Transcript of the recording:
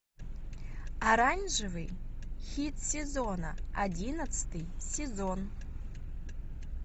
оранжевый хит сезона одиннадцатый сезон